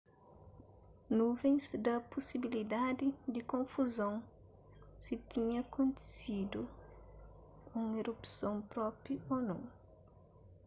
nuvens da pusibiliadi di konfuzon si tinha kontisidu un erupson propi ô nou